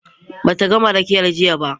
Ba ta gama rakiyar jiya ba.